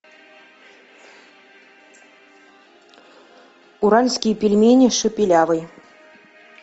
уральские пельмени шепелявый